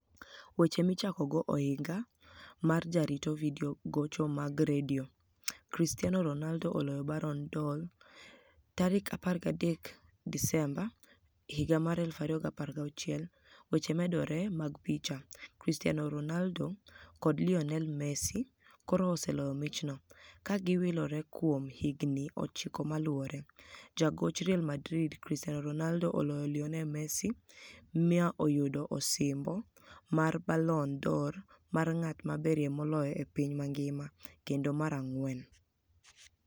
Weche Michakogo Ohiniga mar Jarito Vidio Gocho mag Redio Gocho mag Redio Gocho mag Redio Cristiano Ronialdo oloyo Balloni d'Or 2016 13 Desemba 2016 Weche Momedore mag picha, Cristiano Ronialdo kod Lioni el Messi koro oseloyo michno, ka giwilore kuom higinii ochiko maluwore Jagoch Real Madrid, Cristiano Ronialdo, oloyo Lioni el Messi, mi oyudo osimbo mar Balloni d'Or mar nig'at maberie moloyo e piniy manigima, kenido mar anig'weni.